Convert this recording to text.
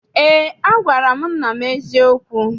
Eé, agwara m nna m eziokwu.